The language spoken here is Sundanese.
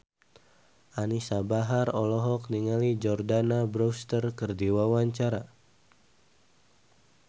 Anisa Bahar olohok ningali Jordana Brewster keur diwawancara